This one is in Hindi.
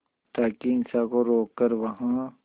ताकि हिंसा को रोक कर वहां